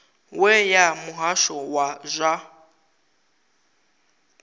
we ya muhasho wa zwa